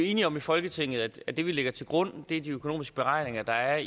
enige om i folketinget at det vi lægger til grund er de økonomiske beregninger der er